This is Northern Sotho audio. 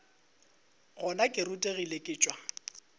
gona ke rutegile ke tšwa